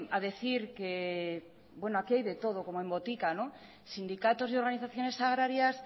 a decir que bueno aquí hay de todo como en botica sindicatos y organizaciones agrarias